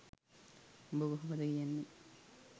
උඹ කොහොමද කියන්නේ